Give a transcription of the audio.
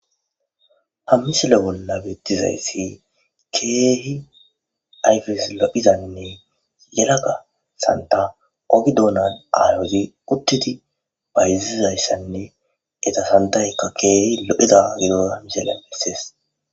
Ha misile bolla beettizayssi keehi ayfes lo'hizanne yelaga santa ogi dounan aayhozi uttiti bayzizayssanne eta santaykka keehi lo'eza giro misele missees.